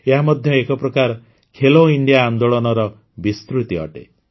ଏହା ମଧ୍ୟ ଏକ ପ୍ରକାର ଖେଲୋ ଇଣ୍ଡିଆ ଆନେ୍ଦାଳନର ବିସ୍ତୃତି ଅଟେ